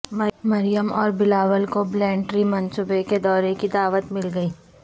مریم اور بلاول کو billion tree منصوبے کے دورے کی دعوت مل گئی